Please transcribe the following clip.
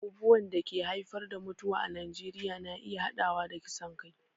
Abubuwan da ke haifar da mutuwa a Najeriya na iya haɗawa da kisan kai